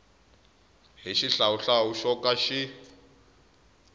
hi xihlawuhlawu xo ka xi